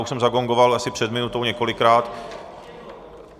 Už jsem zagongoval asi před minutou několikrát.